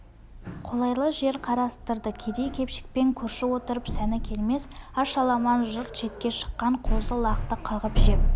қолайлы жер қарастырды кедей-кепшікпен көрші отырып сәні келмес аш аламан жұрт шетке шыққан қозы-лақты қағып жеп